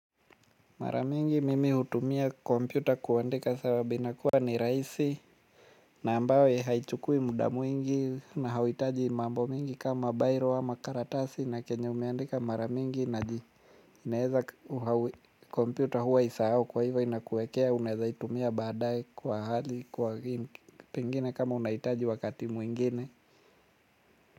Mara mingi mimi hutumia kompyuta kuandika sababu inakuwa ni rahisi. Na ambayo haichukui muda mwingi na hauhitaji mambo mingi kama bairo ama karatasi na chenye umeandika mara mingi naji naeza kompyuta huwa haisahau kwa hivyo inakuwekea unaweza itumia baadaye kwa hali kwa pengine kama unahitaji wakati mwingine.